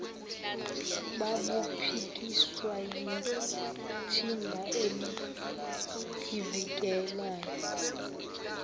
babuphikiswa yithimba elizivikelayo